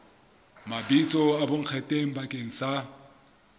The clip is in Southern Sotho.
mabitso a bonkgetheng bakeng sa